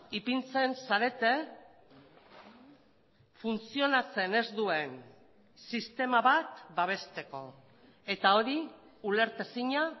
ipintzen zarete funtzionatzen ez duen sistema bat babesteko eta hori ulertezina